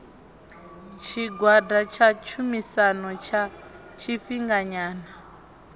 tshigwada tsha tshumisano tsha tshifhinganyana